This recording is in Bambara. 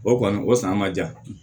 O kɔni o san ma ja